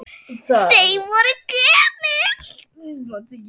Þau voru gömul.